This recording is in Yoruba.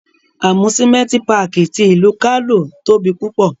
Amusimenti Pààki ti ilu Kano tobi pupọ